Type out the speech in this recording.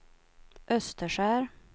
Österskär